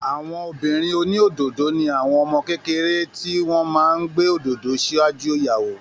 Àwọn ọmọbìnrin oní òdòdó ni àwọn ọmọ kékeré tí wọn máa ń gbé òdòdó ṣáájú ìyàwó